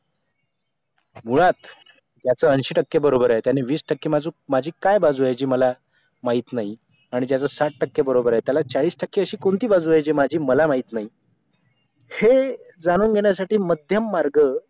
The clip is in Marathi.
मुळात ज्याचं ऐंशी टक्के बरोबर आहे त्यांनी वीस टक्के माजूक माझी काय बाजू आहे जी मला माहित नाही आणि ज्याचं साठ टक्के बरोबर आहे त्याला चाळीस टक्के अशी कोणती बाजू आहे ती माझी मला माहित नाही हे जाणून घेण्यासाठी मध्यम मार्ग